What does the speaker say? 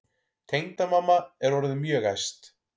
Tengdamamma er orðin mjög æst.